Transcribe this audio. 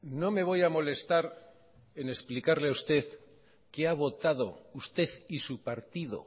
no me voy a molestar en explicarle a usted que ha votado usted y su partido